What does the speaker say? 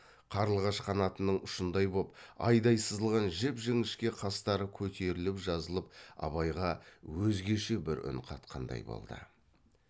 қарлығаш қанатының ұшындай боп айдай сызылған жіп жіңішке қастары көтеріліп жазылып абайға өзгеше бір үн қатқандай болды